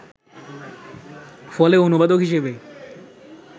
ফলে অনুবাদক হিসেবে